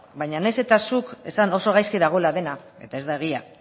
baina nahiz eta zuk esan oso gaizki dagoela dena eta ez da egia